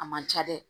A man ca dɛ